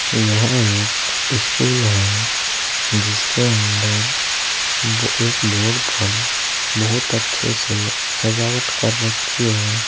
यह एक स्कूल है जिसके अंदर बो एक बोर्ड पर बहुत अच्छे से सजावट कर रखी है।